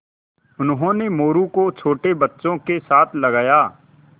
उन्होंने मोरू को छोटे बच्चों के साथ लगाया